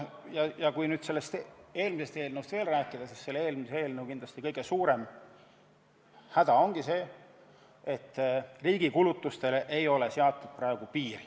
Kui eelmisest eelnõust veel rääkida, siis selle kõige suurem häda on see, et riigi kulutustele ei ole piiri seatud.